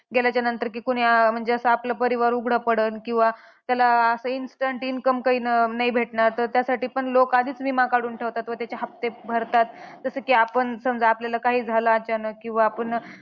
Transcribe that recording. गेल्याच्या नंतर की कोणी म्हणजे असं अं आपलं परिवार उघडा पडन किंवा त्याला असं instant income काही नाही भेटणार, तर त्यासाठी पण लोक आधीच विमा काढून ठेवतात. तर त्याचे हफ्ते भरतात. जसं की आपण समजा आपल्याला काही झालं अचानक, किंवा आपण